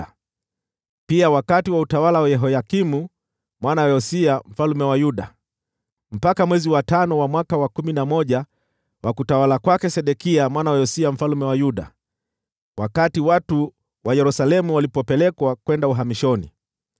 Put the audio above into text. na pia wakati wa utawala wa Yehoyakimu mwana wa Yosia mfalme wa Yuda, mpaka mwezi wa tano wa mwaka wa kumi na moja wa utawala wa Sedekia mwana wa Yosia mfalme wa Yuda, wakati watu wa Yerusalemu walipopelekwa uhamishoni.